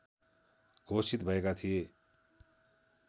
घोषित भएका थिए